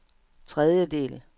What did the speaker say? tredjedel